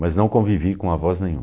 Mas não convivi com avós nenhum.